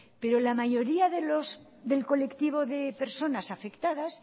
pero la mayoría del colectivo de personas afectadas